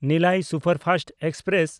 Nellai superfast express